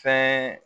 Fɛn